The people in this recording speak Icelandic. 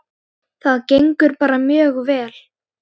Það gengur bara mjög vel.